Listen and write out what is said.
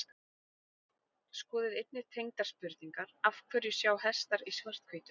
Skoðið einnig tengdar spurningar Af hverju sjá hestar í svart-hvítu?